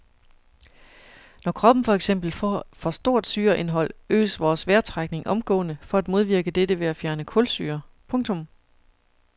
Når kroppen for eksempel får for stort syreindhold øges vores vejrtrækning omgående for at modvirke dette ved at fjerne kulsyre. punktum